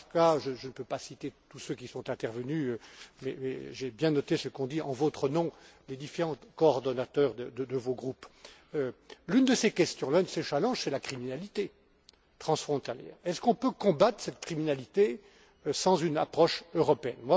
Paška je ne peux pas citer tous ceux qui sont intervenus mais j'ai bien noté ce qu'ont dit en votre nom les différents coordonnateurs de vos groupes. L'une de ces questions, l'un de ces challenges, c'est la criminalité transfrontalière. Peut on combattre cette criminalité sans une approche européenne?